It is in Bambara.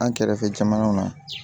An kɛrɛfɛ jamanaw na